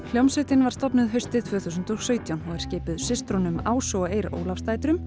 hljómsveitin var stofnuð haustið tvö þúsund og sautján og er skipuð systrunum Ásu og Eir